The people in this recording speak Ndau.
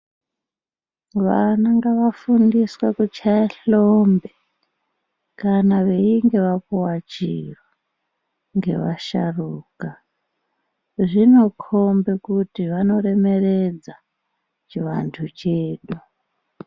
Vana ngava fundiswe kuchaya hlombe kana veinge vapuwa chiro nge vasharuka zvino kombe kuti vano remeredza chi vantu chedu.